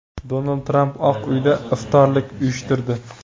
Donald Tramp Oq uyda iftorlik uyushtirdi .